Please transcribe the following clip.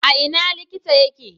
A ina likita yake?